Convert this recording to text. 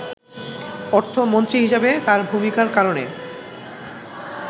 অর্থমন্ত্রী হিসেবে তার ভূমিকার কারণে